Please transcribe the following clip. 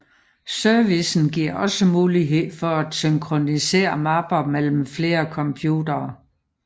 Servicen giver også mulighed for at synkronisere mapper mellem flere computere